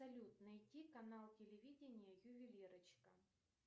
салют найти канал телевидения ювелирочка